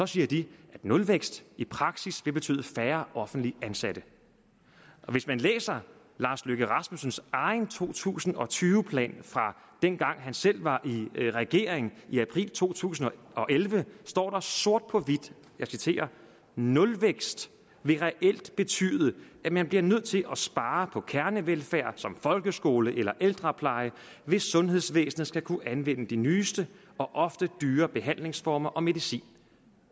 siger de nulvækst i praksis vil betyde færre offentligt ansatte hvis man læser herre lars løkke rasmussens egen to tusind og tyve plan fra dengang han selv var i regering i april to tusind og elleve står der sort på hvidt jeg citerer nulvækst vil reelt betyde at man bliver nødt til at spare på kernevelfærd som folkeskole eller ældrepleje hvis sundhedsvæsenet skal kunne anvende de nyeste og ofte dyre behandlingsformer og medicin